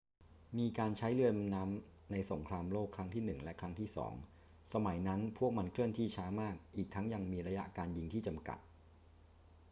มีการใช้เรือดำน้ำในสงครามโลกครั้งที่หนึ่งและครั้งที่สอง สมัยนั้นพวกมันเคลื่อนที่ช้ามาก อีกทั้งยังมีระยะการยิงที่จำกัด